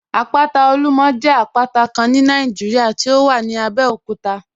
Àpátà Olúmọ̀ jẹ àpátà Kán ní Nàìjíríà tí ó wà ní Àbẹ̀òkútà